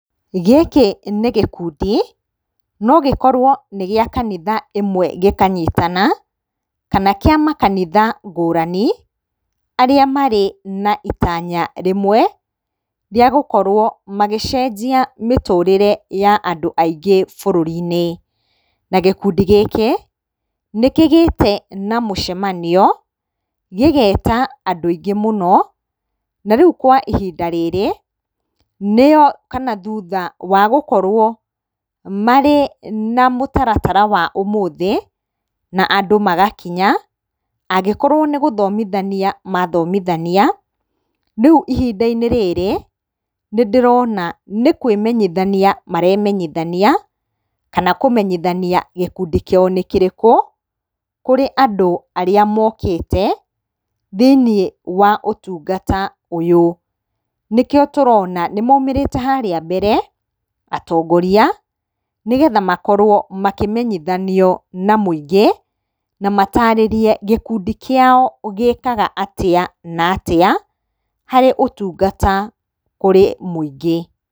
Gĩkĩ nĩ gĩkundi no gĩkorwo nĩ gĩa kanitha ĩmwe gĩkanyitana, kana kĩa makanitha ngũrani arĩa marĩ na itanya rĩmwe rĩa gũkorwo magĩcenjia mĩtũrĩre ya andũ aingĩ bũrũri-inĩ. Na gĩkundi gĩkĩ nĩkĩgĩte na mũcemanio gĩgeta andũ aingĩ mũno na rĩu kwa ihinda rĩrĩ nĩo thutha wa gũkorwo marĩ na mũtaratara wa ũmũthĩ na andũ magakinya, angĩkorwo nĩ gũthomithania mathomithania, rĩu ihinda-inĩ rĩrĩ nĩndĩrona nĩ kwĩmenyithania maremenyithania, kana kũmenyithania gĩkundi kĩao nĩ kĩrĩkũ kũrĩa andũ arĩa mokĩte thĩinĩ wa ũtungata ũyũ. Nĩkĩo tũrona nĩmaumĩrĩte harĩa mbere atongoria nĩgetha makorwo makĩmenithanio na mũingĩ na matarĩrie gĩkundi kĩao gĩkaga atĩa na atĩa harĩ ũtungata kũrĩ mũingĩ.